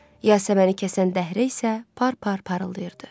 Yasəməni kəsən dəhrə isə par-par parıldayırdı.